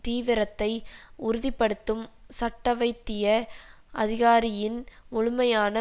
தீவிரத்தை உறுதி படுத்தும் சட்டவைத்திய அதிகாரியின் முழுமையான